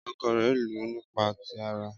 Ọkọ rẹ̀ lù ú nípa ti ara.